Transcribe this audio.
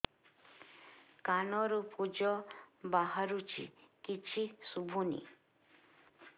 କାନରୁ ପୂଜ ବାହାରୁଛି କିଛି ଶୁଭୁନି